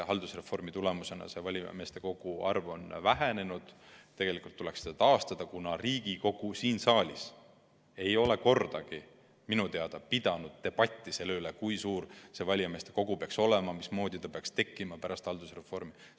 Haldusreformi tulemusena on valijameeste arv vähenenud, tegelikult tuleks see aga taastada, kuna Riigikogu siin saalis ei ole minu teada kordagi pidanud debatti selle üle, kui suur valijameeste kogu peaks olema, mismoodi ta peaks pärast haldusreformi tekkima.